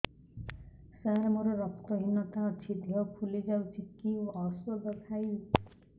ସାର ମୋର ରକ୍ତ ହିନତା ଅଛି ଦେହ ଫୁଲି ଯାଉଛି କି ଓଷଦ ଖାଇବି